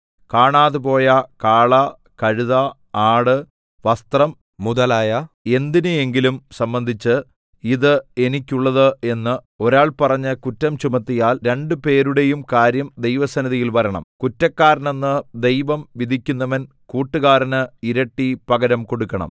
കാണാതെപോയ കാള കഴുത ആട് വസ്ത്രം മുതലായ എന്തിനെയെങ്കിലും സംബന്ധിച്ച് ഇത് എനിക്കുള്ളത് എന്ന് ഒരാൾ പറഞ്ഞ് കുറ്റം ചുമത്തിയാൽ രണ്ട് പേരുടെയും കാര്യം ദൈവസന്നിധിയിൽ വരണം കുറ്റക്കാരനെന്ന് ദൈവം വിധിക്കുന്നവൻ കൂട്ടുകാരന് ഇരട്ടി പകരം കൊടുക്കണം